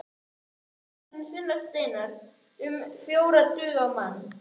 Skerið laxinn í þunnar sneiðar, um fjórar duga á mann.